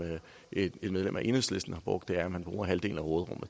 et medlem af enhedslisten har brugt er at man bruger halvdelen af råderummet